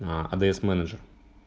аа адрес менеджер